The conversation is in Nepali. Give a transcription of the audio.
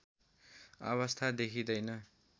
अवस्था देखिँदैन